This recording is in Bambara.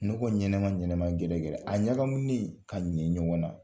Nɔgɔ ɲɛnama ɲɛnɛma gɛrɛ gɛrɛ a ɲagaminen ka ɲɛ ɲɔgɔn na.